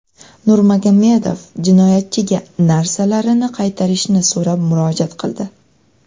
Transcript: Nurmagomedov jinoyatchiga narsalarini qaytarishini sorab murojaat qildi.